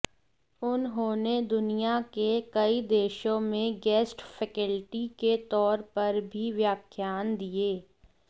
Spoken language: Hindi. उन्होंने दुनिया के कई देशों में गेस्ट फैकल्टी के तौर पर भी व्याख्यान दिए